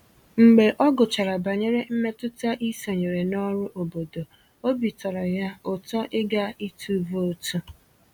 Mgbe ọ gụchàrà banyere mmetụta ịsonyere na ọrụ obodo, obi tọrọ ya ụtọ ịga ịtụ vootu